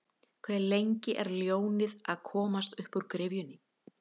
Hve lengi er ljónið að komast uppúr gryfjunni?